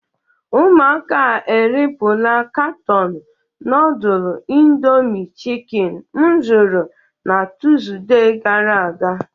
Ụmụaka a eripula katọọnụ nudl indomi chikin m zụrụ na Tuuzde gara aga.